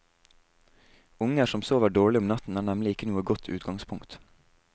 Unger som sover dårlig om natten er nemlig ikke noe godt utgangspunkt.